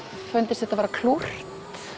fundist þetta vera klúrt